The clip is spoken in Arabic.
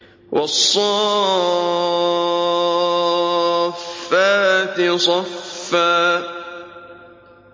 وَالصَّافَّاتِ صَفًّا